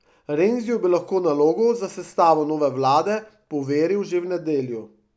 Renziju bi lahko nalogo za sestavo nove vlade poveril že v nedeljo.